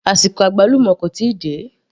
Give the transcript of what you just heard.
Àsìkò àgbálùmọ́ kò tíì dé